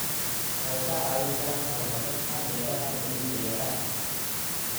Waxay kaa caawin karaan horumarinta beeraha dabiiciga ah.